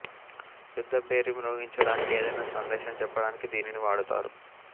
యుద్ధ భేరి మ్రోగించడానికి ఏదైనా సందేశం చెప్పడానికి దీనిని వాడుతారు